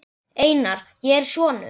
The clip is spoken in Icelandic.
Einar, ég er sonur.